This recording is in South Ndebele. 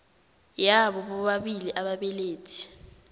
yabo bobabili ababelethi